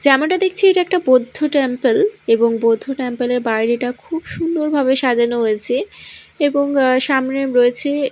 যেমাটা দেখছি এটা একটা বৌদ্ধ টেম্পেল এবং বৌদ্ধ টেম্পেল -এর বাইরেটা খুব সুন্দর ভাবে সাজানো হয়েছে এবং সামনে রয়েছে--